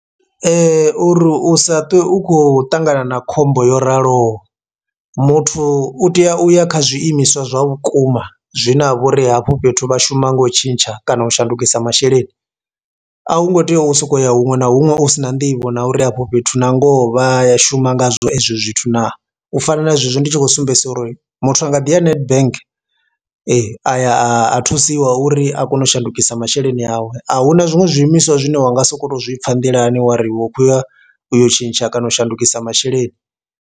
Uri u sa ṱwe u khou ṱangana na khombo yo raloho, muthu u tea u ya kha zwiimiswa zwa vhukuma zwine ha vha uri hafho fhethu vha shuma nga u tshintsha kana u shandukisa masheleni. A hu ngo tea u sokou ya huṅwe na huṅwe u sina nḓivho na uri afho fhethu na ngoho vha ya shuma ngazwo ezwi zwithu na u fana na zwezwi ndi tshi khou sumbedzisa uri muthu a nga ḓi ya Nedbank a ya a thusiwa uri a kone u shandukisa masheleni awe, ahuna zwinwe zwiimiswa zwine wa nga soko to zwi pfha nḓilani wari wo khouya u yo tshintsha kana u shandukisa masheleni.